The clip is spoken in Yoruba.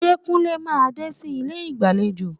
Ṣé Kúnlé máa dé sí ilé ìgbàlejò?